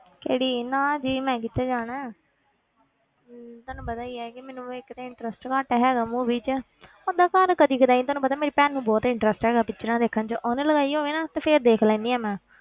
ਕਿਹੜੀ ਨਾ ਜੀ ਮੈਂ ਕਿੱਥੇ ਜਾਣਾ ਹੈ ਹਮ ਤੁਹਾਨੂੰ ਪਤਾ ਹੀ ਹੈ ਕਿ ਮੈਨੂੰ ਇੱਕ ਤੇ interest ਘੱਟ ਹੈਗਾ movie ਵਿੱਚ ਓਦਾਂ ਘਰ ਕਦੇ ਕਦਾਈ ਤੁਹਾਨੂੰ ਪਤਾ ਮੇਰੀ ਭੈਣ ਨੂੰ ਬਹੁਤ interest ਹੈਗਾ pictures ਦੇਖਣ ਵਿੱਚ ਉਹਨੇ ਲਗਾਈ ਹੋਵੇ ਨਾ ਤੇ ਫਿਰ ਦੇਖ ਲੈਂਦੀ ਹਾਂ ਮੈਂ,